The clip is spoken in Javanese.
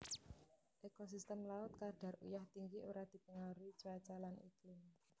Ekosistem laut kadar uyah tinggi ora dipengaruhi cuaca lan iklim